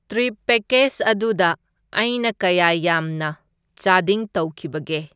Trip package ꯑꯗꯨꯗ ꯑꯩꯅ ꯀꯌꯥ ꯌꯥꯝꯅ ꯆꯥꯗꯤꯡ ꯇꯧꯈꯤꯕꯒꯦ?